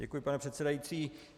Děkuji, pane předsedající.